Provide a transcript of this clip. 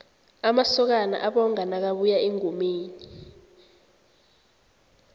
amasokana abonga nakabuya engomeni